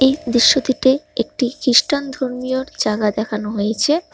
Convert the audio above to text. দৃশ্যটিতে একটি খ্রিস্টান ধর্মীয়র জায়গা দেখানো হয়েছে।